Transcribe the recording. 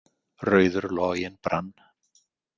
„Rauður loginn brann“.